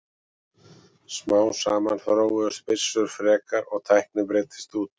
Smám saman þróuðust byssur frekar og tæknin breiddist út.